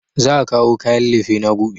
Za a kawo kayan lefena gobe